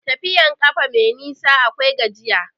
Tafiyan ƙafa mai nisa akwai gajiya.